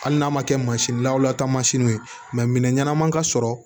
Hali n'a ma kɛ mansin lawta mansiniw ye minɛn ɲɛnama ka sɔrɔ